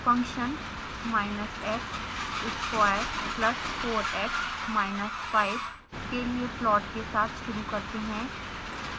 function minus x square plus 4x minus 5 के लिए plot के साथ शुरू करते हैं